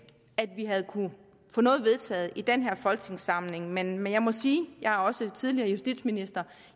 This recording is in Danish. at vi havde kunnet få noget vedtaget i den her folketingssamling men men jeg må sige jeg er også tidligere justitsminister